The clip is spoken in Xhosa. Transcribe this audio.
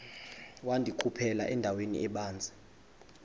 wandikhuphela endaweni ebanzi